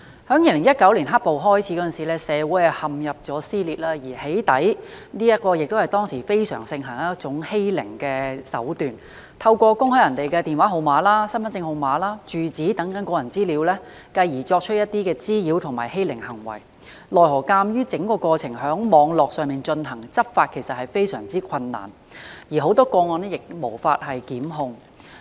在2019年"黑暴"開始，社會陷入撕裂，而"起底"是當時非常盛行的欺凌手段，透過公開他人的電話號碼、身份證號碼、住址等個人資料，繼而作出一些滋擾和欺凌的行為，奈何鑒於整個過程在網絡上進行，執法其實非常困難，而很多個案亦無法檢控。